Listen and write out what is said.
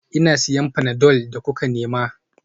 Ina siyan panadol da kuka nema